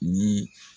Ni